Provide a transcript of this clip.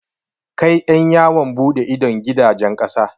Kai ƴan yawon buɗe idon gidajen ƙasa.